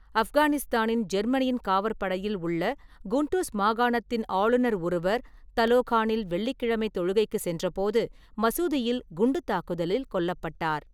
ஆப்கானிஸ்தானின் ஜேர்மனியின் காவற்படையில் உள்ள குண்டூஸ் மாகாணத்தின் ஆளுநர் ஒருவர் தலோகானில் வெள்ளிக்கிழமை தொழுகைக்கு சென்றபோது மசூதியில் குண்டுத் தாக்குதலில் கொல்லப்பட்டார்.